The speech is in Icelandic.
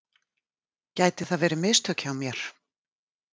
Gæti það verið mistök hjá mér?